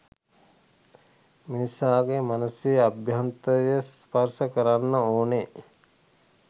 මිනිසාගේ මනසේ අභ්‍යන්තරය ස්පර්ශ කරන්න ඕනෙ.